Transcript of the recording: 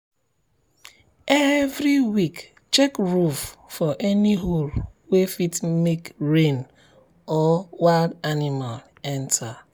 every week check roof for any hole wey fit make rain or wild animal enter.